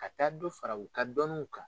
Ka taa dɔ fara u ka dɔnniw kan.